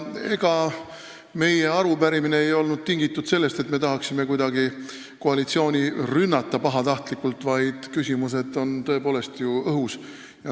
Ega meie arupärimine ei olnud tingitud sellest, nagu me tahaksime kuidagi pahatahtlikult koalitsiooni rünnata, vaid küsimused on tõepoolest ju õhus.